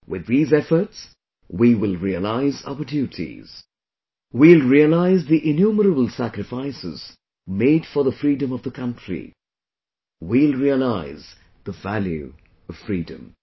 With these efforts, we will realize our duties... we will realize the innumerable sacrifices made for the freedom of the country; we will realize the value of freedom